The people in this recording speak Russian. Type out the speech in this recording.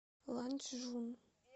ланчжун